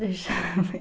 Deixa eu ver.